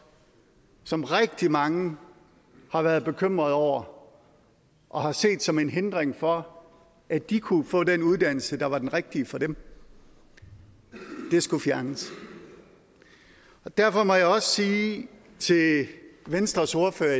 som rigtig mange har været bekymrede over og set som en hindring for at de kunne få den uddannelse der var den rigtige for dem skulle fjernes derfor må jeg også sige til venstres ordfører at